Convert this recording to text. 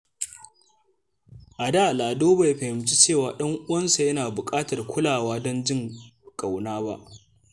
A da, Lado bai fahimci cewa ɗan uwansa yana buƙatar kulawa don jin ƙauna ba.